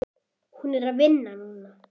Hún er að vinna núna.